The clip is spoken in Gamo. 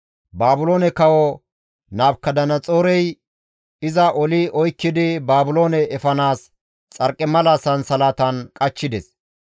Baabiloone Kawo Nabukadanaxoorey iza oli oykkidi Baabiloone efanaas xarqimala sansalatan qachchides.